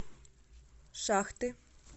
шахты